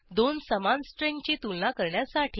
दोन समान स्ट्रिंगची तुलना करण्यासाठी